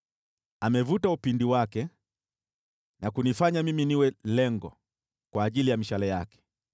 Amevuta upinde wake na kunifanya mimi niwe lengo kwa ajili ya mishale yake.